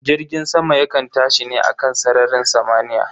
Jirgin sama yakan tashi ne a kan sararin samaniya